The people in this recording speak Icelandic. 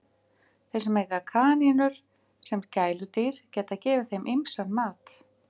Þeir sem eiga kanínur sem gæludýr geta gefið þeim ýmsan mat.